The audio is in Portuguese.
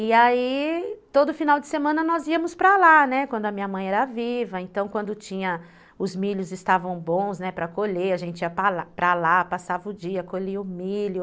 E aí, todo final de semana nós íamos para lá, né, quando a minha mãe era viva, então quando tinha, os milhos estavam bons, né, para colher, a gente ia para lá, passava o dia, colhia o milho,